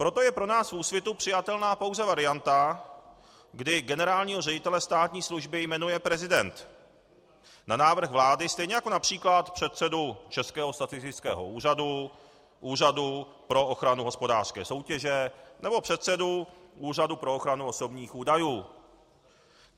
Proto je pro nás v Úsvitu přijatelná pouze varianta, kdy generálního ředitele státní služby jmenuje prezident na návrh vlády, stejně jako například předsedu Českého statistického úřadu, Úřadu pro ochranu hospodářské soutěže nebo předsedu Úřadu pro ochranu osobních údajů.